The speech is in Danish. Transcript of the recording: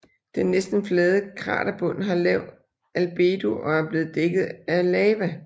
Den næsten flade kraterbund har lav albedo og er blevet dækket af lava